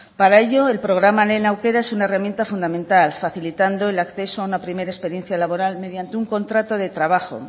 para ello el programa lehen aukera es una herramienta fundamental facilitando el acceso a una primera experiencia laboral mediante un contrato de trabajo